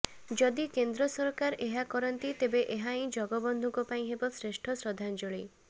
ଯଦି କେନ୍ଦ୍ର ସରକାର ଏହା କରନ୍ତି ତେବେ ଏହାହିଁ ଜଗବନ୍ଧୁଙ୍କ ପାଇଁ ହେବ ଶ୍ରେଷ୍ଠ ଶ୍ରଦ୍ଧାଞ୍ଜଳୀ